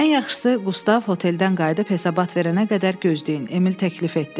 Ən yaxşısı Qustav hoteldən qayıdıb hesabat verənə qədər gözləyin, Emil təklif etdi.